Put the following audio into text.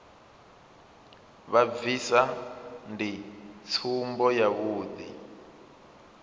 vha bvisa ndi tsumbo yavhuḓi